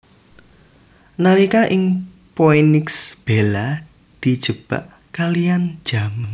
Nalika ing Phoenix Bella dijebak kaliyan James